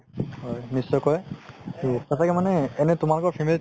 হয় নিশ্চয়কে সচাকৈ মানে এনে তোমালোকৰ family ত